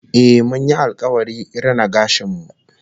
Eh, mun yi alkawari rina gashin mu